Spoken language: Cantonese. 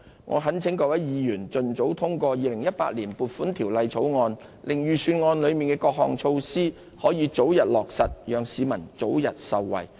我懇請各位議員盡早通過《條例草案》，令預算案的各項措施可以早日落實，讓市民早日受惠。